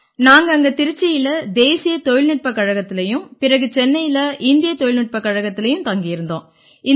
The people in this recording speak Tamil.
நாங்க அங்க திருச்சியில தேசிய தொழில்நுட்பக் கழகத்திலயும் பிறகு சென்னையில இந்திய தொழில்நுட்பக் கழகத்திலயும் தங்கி இருந்தோம்